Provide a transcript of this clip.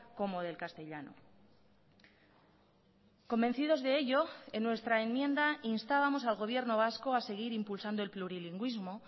como del castellano convencidos de ello en nuestra enmienda instábamos al gobierno vasco a seguir impulsando el plurilingüismo